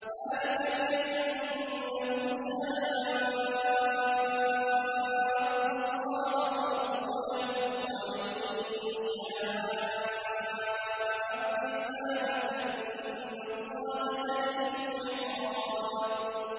ذَٰلِكَ بِأَنَّهُمْ شَاقُّوا اللَّهَ وَرَسُولَهُ ۖ وَمَن يُشَاقِّ اللَّهَ فَإِنَّ اللَّهَ شَدِيدُ الْعِقَابِ